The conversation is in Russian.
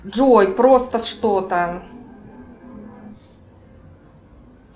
джой просто что то